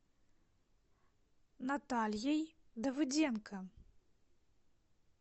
натальей давыденко